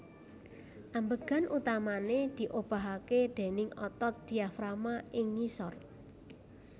Ambegan utamané diobahké déning otot diafragma ing ngisor